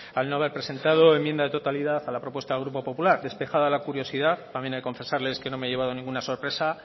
al no haber presentado enmienda de totalidad a la propuesta del grupo popular despejada la curiosidad también he de confesarles que no me he llevado ninguna sorpresa